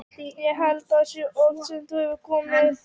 Ég held að það sé æði oft sem það hefur komið fyrir.